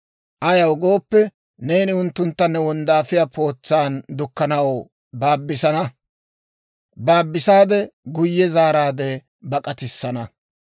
Ayaw gooppe, neeni unttuntta ne wonddaafiyaa pootsan dukkanaw baabisana; guyye zaaraadde bak'atissana.